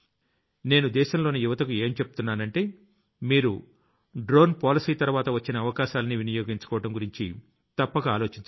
నేను దేశంలోని యువతకు ఏం చెబుతున్నానంటే మీరు డ్రోన్ Policyతర్వాత వచ్చిన అవకాశాల్ని వినియోగించుకోవడం గురించి తప్పక ఆలోచించండి